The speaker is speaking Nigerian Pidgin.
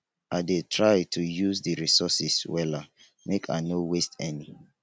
i dey try to use di resources wella make i no waste any.